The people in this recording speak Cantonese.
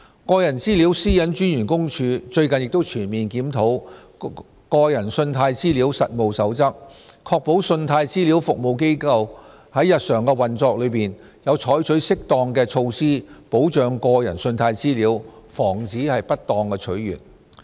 個人資料私隱專員公署最近亦全面檢討《個人信貸資料實務守則》，確保信貸資料服務機構在日常運作中有採取適當的措施保障個人信貸資料，防止不當取閱。